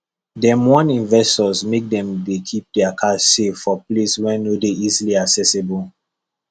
dem warn investors make dem dey keep their cash safe for place wey no dey easily accessible